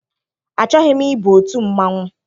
Achọghị m ịba otu mmanwụ.